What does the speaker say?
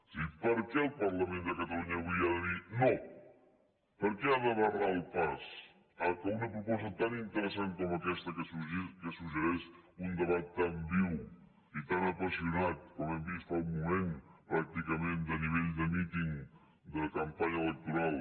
és a dir per què el parlament de catalunya avui ha de dir no per què ha de barrar el pas que una proposta tan interessant com aquesta que suggereix un debat tan viu i tan apassionat com hem vist fa un moment pràcticament de nivell de míting de campanya electoral